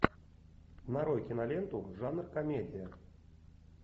нарой киноленту жанр комедия